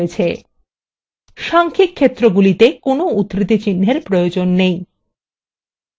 সাংখ্যিক ক্ষেত্রগুলিতে কোনো উদ্ধৃতি চিহ্ন এর প্রয়োজন নেই